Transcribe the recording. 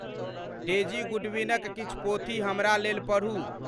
daisy Goodwin क किछ पोथी हमरा लेल परहु